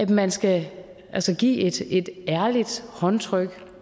man skal give et ærligt håndtryk